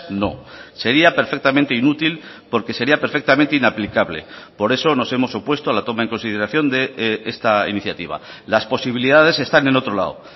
no sería perfectamente inútil porque sería perfectamente inaplicable por eso nos hemos opuesto a la toma en consideración de esta iniciativa las posibilidades están en otro lado